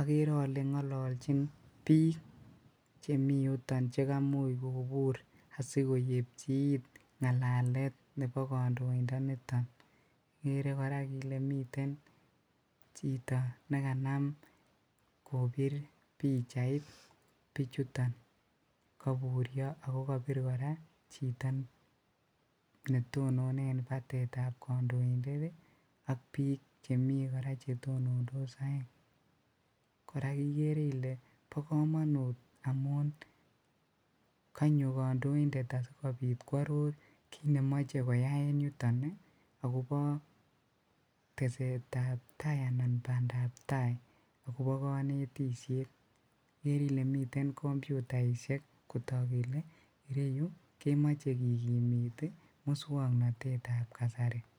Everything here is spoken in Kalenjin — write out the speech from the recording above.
okere olee ng'ololchin biik chemiyuton chekamuch kobur asikoyebchi iit ng'alalet nebo kondoindoniton, ikere kora ilee miten chito nekanam kobir pichait bichuton koburio ak ko kobir kora chito netonone en batetab kondointet ak chemi kora chetonondos oeng, kora ikere ilee bokomonut amun kanyo kondointet asikobit kworor kiit nemoche koyai en yuton agobo tesetab taai anan bandab taai agobo konetishet, ikere ilee miten komputaishek kotok kelee iyeyuu komoche kikimit muswoknotetab kasari.